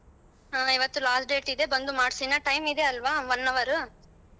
ಹ ಇವತ್ತು last date ಇದೆ ಬಂದು ಮಾಡ್ಸು ಇನ್ನಾ time ಇದೆ ಅಲ್ವಾ one hour .